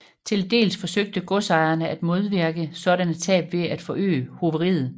Til dels forsøgte godsejerne at modvirke sådanne tab ved at forøge hoveriet